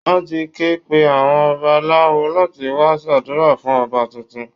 Wọ́n ti ké pe àwọn babalawo láti wá ṣàdúrà fún Ọba tuntun